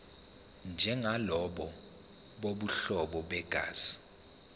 njengalabo bobuhlobo begazi